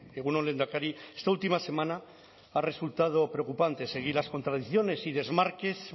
egun on lehendakari esta última semana ha resultado preocupante seguir las contradicciones y desmarques